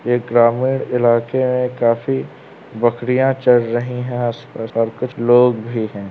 ये ग्रामीण इलाके हैं। काफ़ी बकरियां चल रही है आस-पास और कुछ लोग भी है।